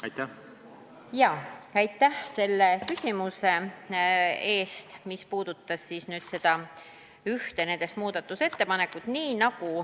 Aitäh selle küsimuse eest, mis puudutas ühte nendest muudatusettepanekutest!